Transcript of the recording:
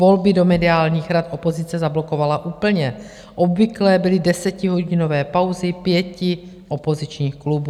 Volby do mediálních rad opozice zablokovala úplně, obvyklé byly desetihodinové pauzy pěti opozičních klubů.